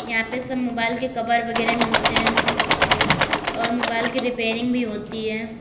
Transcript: यहां पे सब मोबाइल के कवर वगैरा मिलते हैं और मोबाइल की रिपेयरिंग भी होती है।